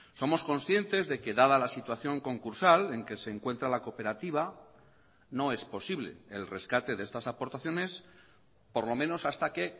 somos conscientes de que dada la situación concursal en que se encuentra la cooperativa no es posible el rescate de estas aportaciones por lo menos hasta que